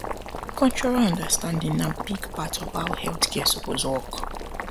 cultural understanding na big part of how health care suppose work